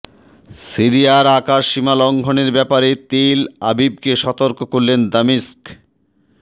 সিরিয়ার আকাশসীমা লঙ্ঘনের ব্যাপারে তেল আবিবকে সতর্ক করলে দামেস্ক